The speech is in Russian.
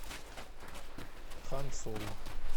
хан соло